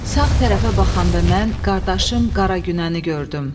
Sağ tərəfə baxanda mən qardaşım Qara Günəni gördüm.